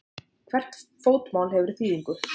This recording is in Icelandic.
Hvert fótmál hefur þýðingu.